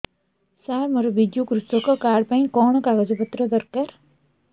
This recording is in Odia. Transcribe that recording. ସାର ମୋର ବିଜୁ କୃଷକ କାର୍ଡ ପାଇଁ କଣ କାଗଜ ପତ୍ର ଦରକାର